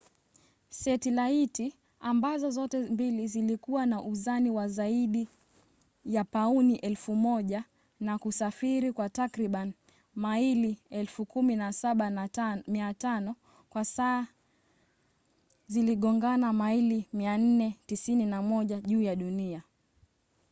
setilaiti ambazo zote mbili zilikuwa na uzani wa zaidi ya pauni 1,000 na kusafiri kwa takribani maili 17,500 kwa saa ziligongana maili 491 juu ya dunia